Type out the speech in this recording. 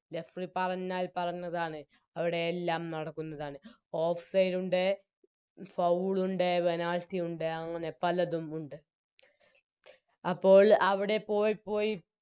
Referee പറഞ്ഞാൽ പറഞ്ഞതാണ് അവിടെ എല്ലാം നടക്കുന്നതാണ് Offside ഉണ്ട് Foul ഉണ്ട് Penalty ഉണ്ട് അങ്ങനെ പലതും ഉണ്ട് അപ്പോൾ അവിടെ പോയിപ്പോയി